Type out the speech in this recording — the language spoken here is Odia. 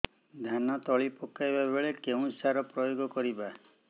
ଧାନ ତଳି ପକାଇବା ବେଳେ କେଉଁ ସାର ପ୍ରୟୋଗ କରିବା